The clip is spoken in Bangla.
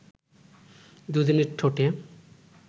দু’জনের ঠোঁটে